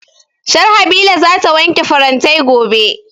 Sharhabila za ta wanke farantai gobe